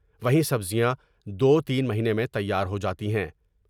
وہیں سبزیاں دو تین مہینے میں تیار ہو جاتی ہیں ۔